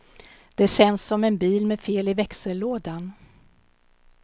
Det känns som en bil med fel i växellådan.